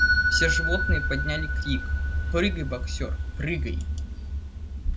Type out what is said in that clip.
все животные подняли крик прыгай боксёр прыгай